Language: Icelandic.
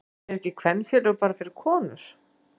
En eru ekki kvenfélög bara fyrir konur?